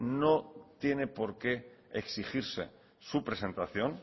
no tiene porqué exigirse su presentación